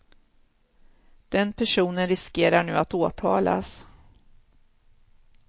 Den personen riskerar nu att åtalas.